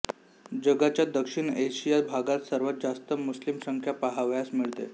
जगाच्या दक्षिण आशिया भागात सर्वात जास्त मुस्लिम संख्या पाहावयास मिळते